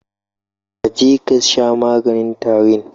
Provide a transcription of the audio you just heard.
Ka je kasha maganin tarin